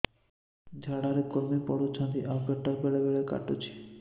ଝାଡା ରେ କୁର୍ମି ପଡୁଛନ୍ତି ଆଉ ପେଟ ବେଳେ ବେଳେ କାଟୁଛି